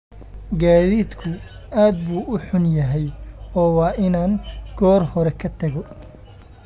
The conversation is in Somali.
Gaadiidku aad buu u xun yahay oo waa inaan goor hore ka tago